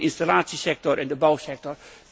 Denk eens aan de installatiesector en de bouwsector.